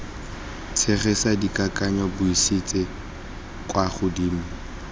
tshegetsa dikakanyo buisetsa kwa godimo